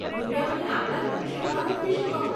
કૃપયા મને આપણા દક્ષિણ ભારત વિષે કહો.